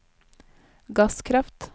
gasskraft